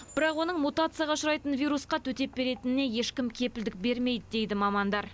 бірақ оның мутацияға ұшырайтын вирусқа төтеп беретініне ешкім кепілдік бермейді дейді мамандар